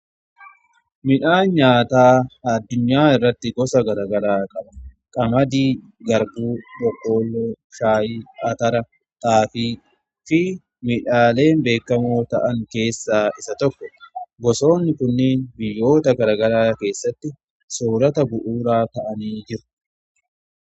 Midhaan nyaataa addunyaa irratti gosa garagaraa qaba. Qamadii, garbuu, boqqolloo, shaayii, atara, xaafii fi midhaaleen beekamoo ta'an keessaa isa tokko. Gosoonni kunniin biyyoota garagaraa keessatti soorata bu'uuraa ta'anii jiru.